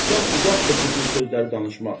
Və haqdan uzaqdır bu cür sözləri danışmaq.